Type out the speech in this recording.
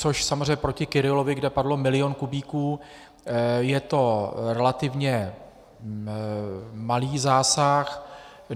Což samozřejmě proti Kyrillovi, kdy padlo milion kubíků, je to relativně malý zásah.